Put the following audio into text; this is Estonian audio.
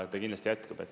Ta kindlasti jätkab.